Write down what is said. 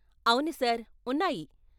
అవును సార్, ఉన్నాయి.